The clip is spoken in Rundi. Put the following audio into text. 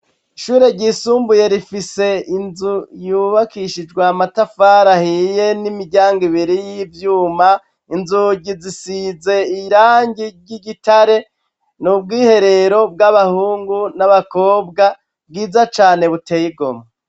Ishure ryisumbuye rifise inzu yubakishijwe amatafari ahiye n'imiryango ibiri y'iyuma, inzugi zisize irangi ry'igitare n'ubwiherero bw'abahungu n'abakobwa bwiza cane butey'igomwe.